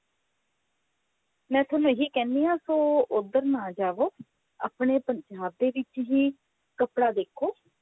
ਮੈਂ ਥੋਨੂੰ ਇਹੀ ਕਹਿਣੀ ਹਾਂ ਸੋ ਉਧਰ ਨਾ ਜਾਵੋ ਆਪਣੇ ਪੰਜਾਬ ਦੇ ਵਿੱਚ ਹੀ ਕੱਪੜਾ ਦੇਖੋ